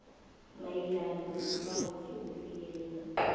mayelana nesibawo sokufikelela